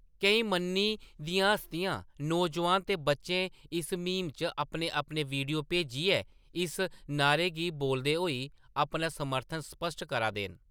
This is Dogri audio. केईं मन्नी दियां हस्तियां, नौजोआन ते बच्चे इस म्हीम च अपने अपने वीडियो भेजियै इस नाह्‌रे गी बोलदे होई अपना समर्थन स्पश्ट करा दे न।